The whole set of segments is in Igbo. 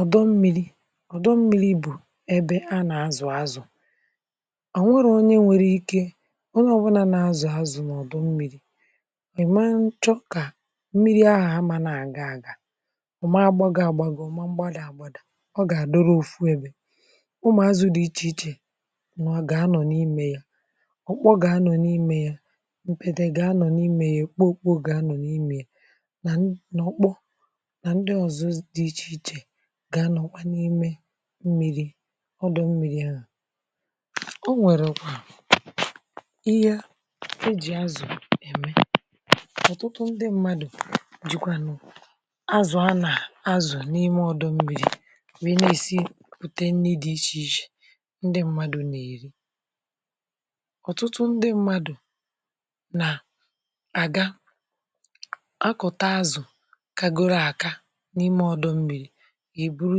ọ̀dọ mmiri̇ ọ̀dọ mmiri bụ̀ ebe a nà-azụ̀ azụ̀, ọ nwereghi onye nwėrė ike onye ọ̀bụnȧ nà-azụ̀ azụ̀ n’ọ̀dọ mmiri̇ ìma nchọkà mmiri ahụ̀ a amà nà-àga agàga ọ̀ ma gbȧgo àgbàgò ọ̀ ma gbȧdȧ àgbȧdȧ ọ gà-àdọrọ òfu ebė. Ụmụ̀ azụ̀ dị̀ ichè ichè gà-anọ̀ n’imė ya ọ̀kpọ̇ gà-anọ̀ n’imė ya m̀kpètè gà-anọ̀ n’imė ya èkpo okpu oge anọ̀ n’imė ya na ndị na ụkpọ na ndị ọzọ di iche iche ga anọ kwa n’ime mmiri ọdụ̀ mmiri ahụ̀. o nwèrè kwa ihe e jì azụ̀ ème ọ̀tụtụ ndị mmadụ̀ jikwa nụ̀ azụ̀ a nà azụ̀ n’ime ọdụ mmiri wee na-èsi pùte nne dị ichè ichè ndị mmadụ̀ nà-èri. Ọtụtụ ndị mmadụ̀ nà àga akọ̀ta azụ̀ kakorụ aka n'ime ọdụ mmiri èburu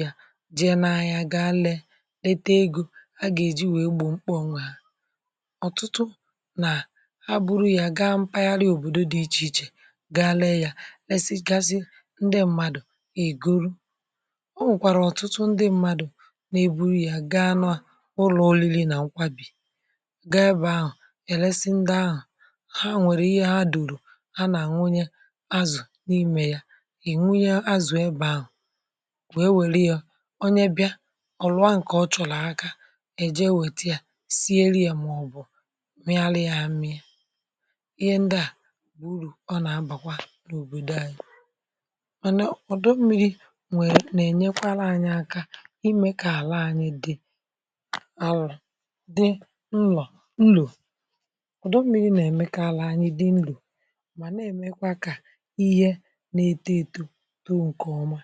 ya je n'ahịa gaa lee lete egȯ a gà-èji wèe gbò mkpa onwe ha. Ọtụtụ nà ha buru ya gaa mpaghara ya òbòdo dị ichè ichè gaa lee yȧ lesi gasị ndị mmadụ̀ ègoro o nwèkwàrà ọ̀tụtụ ndị mmadụ̀ na eburu ya gaa na ụlọ̀ oriri nà nkwàbì ga ebe ahụ̀ ẹ̀lẹsị ndị ahụ̀, ha nwẹ̀rẹ̀ ihe ha dùrù ha nà nwunye azụ̀ n’imė ya e nwunye azụ ebe ahụ wèe wèru yȧ onye bịa ọ̀lụ̀ a ǹkè ọ chọ̀rọ̀ aka èje enwètị̀a sie lie màọ̀bụ̀ m̀iari ami yȧ. Ịhe ndị à uru ọ nà-abàkwa n’òbòdò anyị mànà ọ̀dụ mmi̇ri̇ nwèrè nà-ènyekwara anyị aka imė kà àla anyị di àlụ̀ dị nlo nl. Ọdụ mmi̇ri̇ nà-èmekarị anyị dị nlo mà nà-èmekwa kà ihe na-eto eto to nke ọma.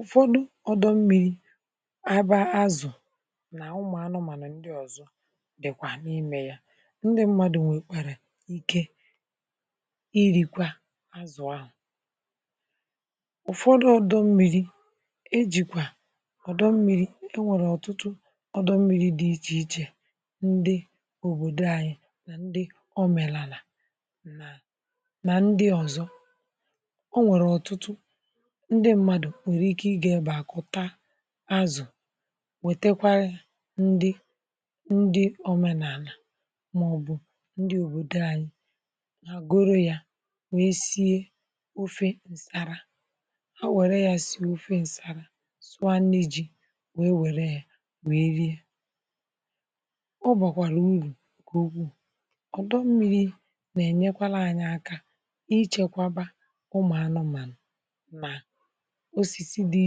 Ụfọdụ ọ̀dọ mmịrị̇ aba azụ̀ nà ụmụ̀ anụmànụ̀ ndị ọ̀zọ dị̀kwà n’imė ya, ndị mmadụ̀ nwèkwàrà ike irìkwà azụ̀ ahụ̀, ụ̀fọdụ ọ̀dọ mmịrị̇ ejìkwà ọ̀dọ mmịrị̇ e nwèrè ọ̀tụtụ ọ̀dọ mmịrị̇ dị ichè ichè ndị òbòdo ànyị nà ndị ọmenalà nà nà ndị ọ̀zọ. O nwèrè ọtụtụ ndị mmadụ̀ nwèrè ike ị gà-ebe àkụta azụ̀ wètekwara ya ndị ndị omenàlà màọbụ̀ ndị òbòdò anyị mà goro ya wee sie ofe ǹsàrà ha wère ya si ofe ǹsàrà sụa nị ji wee wère ya wee rie ọ bọ̀kwàrà urù gugù ọ̀dọ mmiri nà-enyekwala anyị aka ịchekwaba ụmụ̀anụmànụ̀ na osisi dị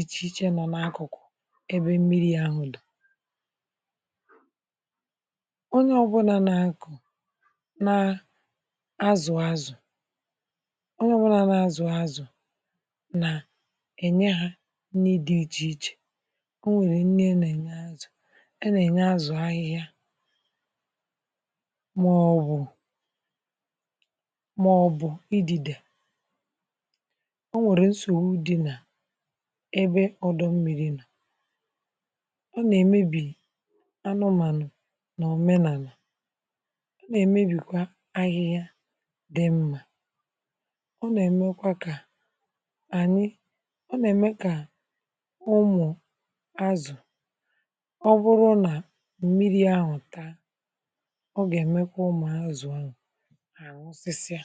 ichè ichè nọ n’akụ̀kụ̀ ebe mmiri ahụ dị̀ ebe ọ̀dọ. Onye ọbu na n'akụ na azụ azụ ónyé ọ buna na azụ azụ na enye nri di iche iche, onwere nri a na- enye azụ a na-azụ ahịha maọbụ ma ọbụ idịde. O nwèrè nsogbu di na ebe ọdọ mmi̇ri̇ ọ nà-èmebì anụmànụ̀ nà omenala,ọ na emebi kwa ahịhịa dimma, ọ na emekwa ka anyị ọ na eme ka ụmụ azụ ọbụrụ na mmiri ahụ taa ọ ga emekwa ụmụ azụ ahụ ha anwụ si sia.